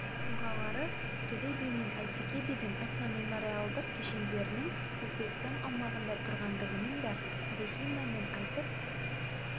тұлғалары төле би мен әйтеке бидің этномемориалдық кешендерінің өзбекстан аумағында тұрғандығының да тарихи мәнін айтып